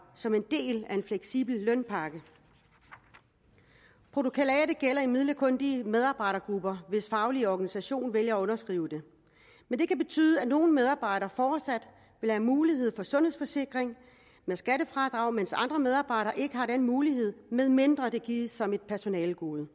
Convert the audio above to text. som en del af en fleksibel lønpakke protokollatet gælder imidlertid kun de medarbejdergrupper hvis faglige organisation vælger at underskrive det men det kan betyde at nogle medarbejdere fortsat har mulighed få sundhedsforsikring med skattefradrag mens andre medarbejdere ikke har den mulighed medmindre det gives som et personalegode